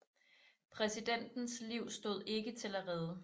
Præsidentens liv stod ikke til at redde